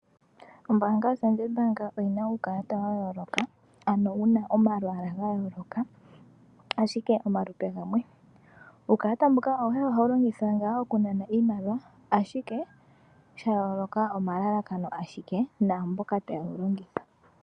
Ombaanga ya Standard oyina uukalata wa yooloka ano wuna omalwaala ga yooloka ashike omalupe gamwe . Uukalata mbuka awuhe ohawu longithwa ngaa okunana iimaliwa ashike sha yooloka omalalakano ashike naamboka ta yewu longitha.